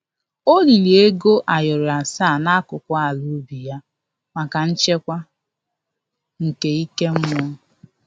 O liri ego ayoro asaa n'akụkụ ala ubi ya maka nchekwa nke ike mmụọ